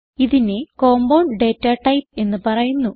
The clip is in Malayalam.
ഇതിനെ കമ്പൌണ്ട് data ടൈപ്പ് എന്ന് പറയുന്നു